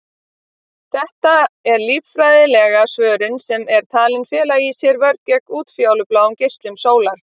Þetta er lífeðlisfræðileg svörun sem er talin fela í sér vörn gegn útfjólubláum geislum sólar.